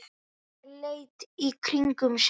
Óskar leit í kringum sig.